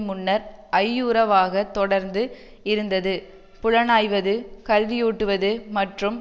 முன்னர் ஐயுறவாக தொடர்ந்து இருந்தது புலனாய்வது கல்வியூட்டுவது மற்றும்